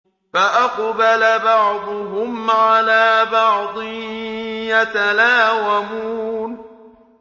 فَأَقْبَلَ بَعْضُهُمْ عَلَىٰ بَعْضٍ يَتَلَاوَمُونَ